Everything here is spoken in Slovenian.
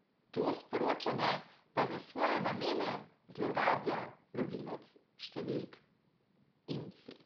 To sporočanje pa za svoje namene zlorablja lovilec številk imsi.